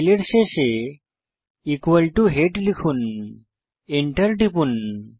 ফাইলের শেষে head লিখুন এন্টার টিপুন